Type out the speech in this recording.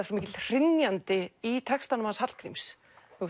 svo mikill hrynjandi í textanum hans Hallgríms